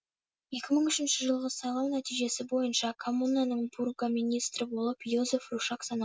екі мың үшінші жылғы сайлау нәтижесі бойынша коммунаның бургоминистрі болып йозеф рушак саналады